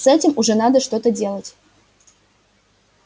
с этим уже надо что-то делать